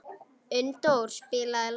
Unndór, spilaðu lag.